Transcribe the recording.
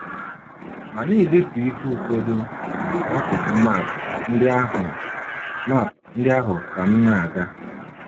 M na - edetu ihe ụfọdụ n’akụkụ map ndị ahụ map ndị ahụ ka m na - aga.